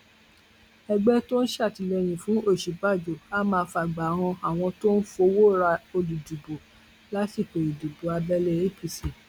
ẹgbẹ tó ń sàtìlẹyìn fún òsínbàjò á máa fàgbà han àwọn tó ń fọwọ ra olùdìbò lásìkò ìdìbò abẹlé apc